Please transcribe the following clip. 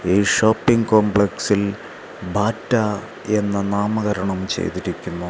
ഈ ഷോപ്പിംഗ് കോംപ്ലക്സിൽ ബാറ്റ എന്ന് നാമകരണം ചെയ്തിരിക്കുന്നു.